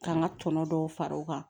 K'an ka tɔnɔ dɔw fara o kan